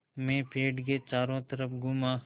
मैं पेड़ के चारों तरफ़ घूमा